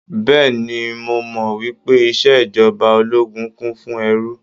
Bẹ́ẹ̀ni, mo mọ̀ wípé ìṣèjọba ológun kún fún ẹ́ru.